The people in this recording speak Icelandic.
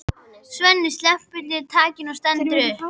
Svenni sleppir takinu og stendur upp.